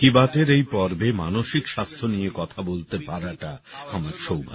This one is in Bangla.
মন কি বাতের এই পর্বে মানসিক স্বাস্থ্য নিয়ে কথা বলতে পারাটা আমার সৌভাগ্য